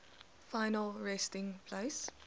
final resting place